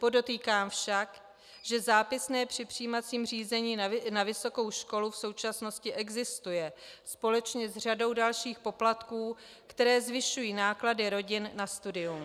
Podotýkám však, že zápisné při přijímacím řízení na vysokou školu v současnosti existuje, společně s řadou dalších poplatků, které zvyšují náklady rodin na studium.